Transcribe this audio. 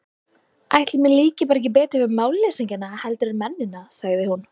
Ætli mér líki bara ekki betur við málleysingjana heldur en mennina, sagði hún.